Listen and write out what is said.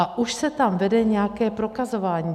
A už se tam vede nějaké prokazování.